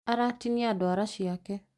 Aratinia ndũara ciake